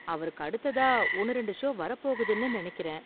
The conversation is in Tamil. அவருக்கு அடுத்ததா ஒன்னு ரெண்டு ஷோ வரப் போகுதுனு நெனைக்கிறேன்.